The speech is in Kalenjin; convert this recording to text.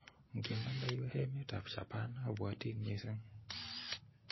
ngimande iwe emetab Japan abwotin missing